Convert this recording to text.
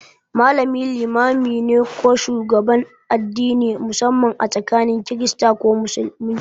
Malami limami ne ko shugaban addini, musamman a tsakanin Kirista ko Musulmi.